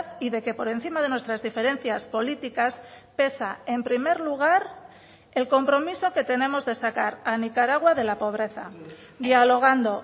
y de que por encima de nuestras diferencias políticas pesa en primer lugar el compromiso que tenemos de sacar a nicaragua de la pobreza dialogando